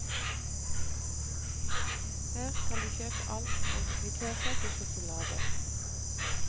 Her kan du kjøpe alt fra antikviteter til sjokolade.